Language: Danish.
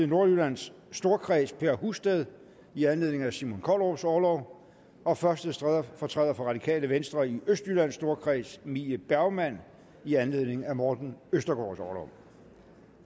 nordjyllands storkreds per husted i anledning af simon kollerups orlov og første stedfortræder for radikale venstre i østjyllands storkreds mie bergmann i anledning af morten østergaards orlov